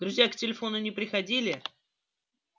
друзья к телефону не приходили